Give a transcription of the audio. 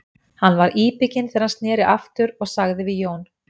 Hann var íbygginn þegar hann sneri aftur og sagði við Jón